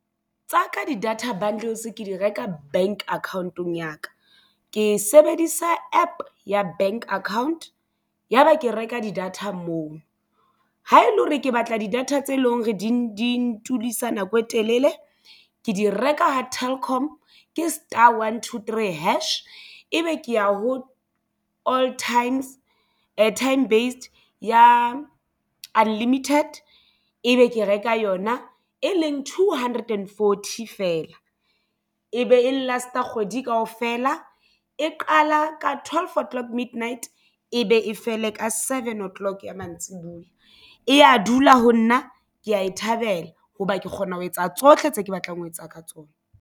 Tsa ka di data bundles ke di reka bank account-ong ya ka ke sebedisa APP ya bank account ya ba ke reka di-data moo ha ele hore ke batla di-data tse leng re di nako e telele ke di reka ha Telkom ke star one two three hash ebe ke ya ho old times airtime based ya unlimited ebe ke reka yona e leng two hundred and forty feela e be e last kgwedi kaofela e qala ka twelve o'clock midnight e be e fele ka seven o'clock ya mantsibuya eya dula ho nna ke ya e thabela hoba ke kgona ho etsa tsohle tse ke batlang ho etsa ka tsona.